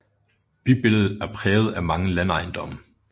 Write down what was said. Bybilledet er præget af mange landejendomme